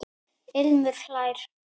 Ilmur hlær.